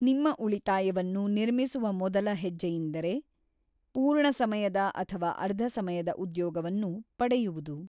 ನಿಮ್ಮ ಉಳಿತಾಯವನ್ನು ನಿರ್ಮಿಸುವ ಮೊದಲ ಹೆಜ್ಜೆಯೆಂದರೆ, ಪೂರ್ಣಸಮಯದ ಅಥವಾ ಅರ್ಧಸಮಯದ ಉದ್ಯೋಗವನ್ನು ಪಡೆಯುವುದು.